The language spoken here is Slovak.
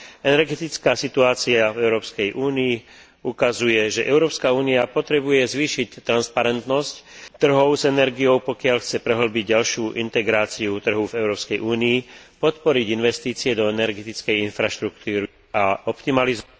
Energetická situácia v Európskej únii ukazuje, že Európska únia potrebuje zvýšiť transparentnosť trhov s energiou, pokiaľ chce prehĺbiť ďalšiu integráciu trhu v Európskej únii, podporiť investície do energetickej infraštruktúry a optimalizovať...